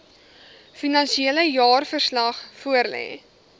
finansiële jaarverslag voorlê